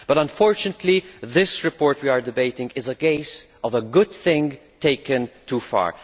But unfortunately the report we are debating is a case of a good thing taken too far.